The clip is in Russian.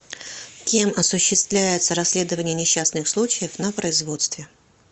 кем осуществляется расследование несчастных случаев на производстве